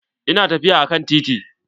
Ina tafiya akan titi.